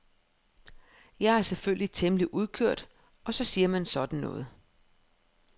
Jeg er selvfølgelig temmelig udkørt og så siger man sådan noget.